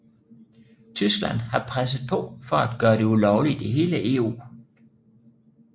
Tyskland har presset på for at gøre det ulovligt i hele EU